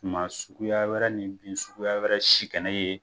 Suma suguya wɛrɛ ni bin suguya wɛrɛ si kɛnɛ ye.